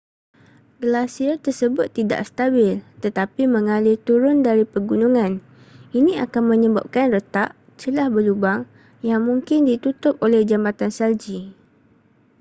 glasier tersebut tidak stabil tetapi mengalir turun dari pergunungan ini akan menyebabkan retak celah berlubang yang mungkin ditutup oleh jambatan salji